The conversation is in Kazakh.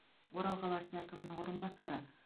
орал қаласы әкімінің орынбасары